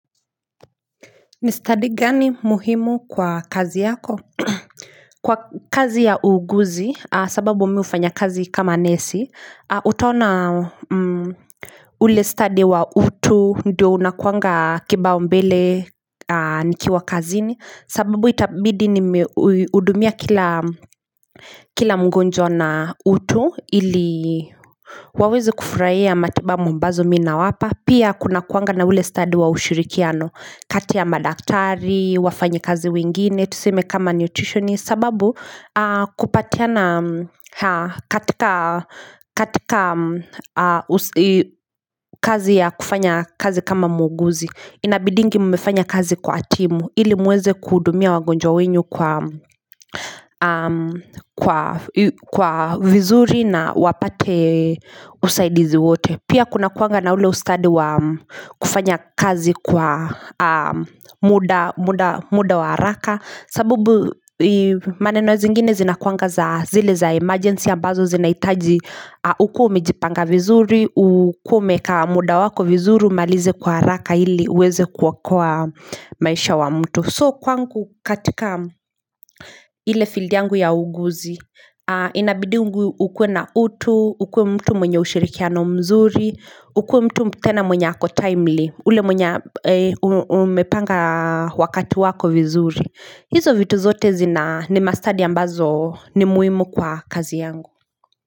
Ni study gani muhimu kwa kazi yako kwa kazi ya uuguzi sababu mimi hufanya kazi kama nesi utaona ule study wa utu ndio unakuanga kibao mbele nikiwa kazini sababu itabidi nimeudumia kila kila mgonjwa na utu ili waweze kufurahia matibabu ambazo mi nawapa Pia kunakuanga na ule study wa ushirikiano kati ya madaktari, wafanyikazi wengine, tuseme kama nutritionist sababu kupatiana katika kazi ya kufanya kazi kama muuguzi Inabidingi mmefanya kazi kwa timu ili muweze kuhudumia wagonjwa wenyu kwa vizuri na wapate usaidizi wote Pia kunakuanga na ule ustadi wa kufanya kazi kwa muda wa haraka sabubu maneno zingine zinakuanga za zile za emergency ambazo zinahitaji ukuwe umejipanga vizuri, ukuwe umeeka muda wako vizuri umalize kwa haraka ili uweze kuokoa maisha wa mtu So kwangu katika ile field yangu ya uuguzi, inabidingu ukuwe na utu, ukwe mtu mwenye ushirikiano mzuri, ukuwe mtu tena mwenye ako timely, ule mwenye umepanga wakati wako vizuri. Hizo vitu zote zina ni mastadi ambazo ni muhimu kwa kazi yangu.